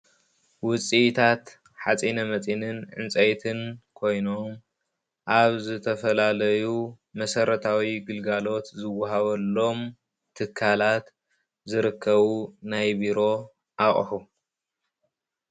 ውፅኢታት ሓፂነ መፂን ዕንፀይትን ኮይኖም ኣብ ዝተፈላለዩ መሰረታዊ ግልጋሎት ዝወሃበሎም ትካላት ዝርከቡ ናይ ቢሮ ኣቁሑ፡፡